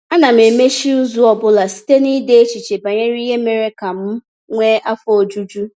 Ana m emechi izu ọ bụla site n’ide echiche banyere ihe mere ka m nwee afọ ojuju.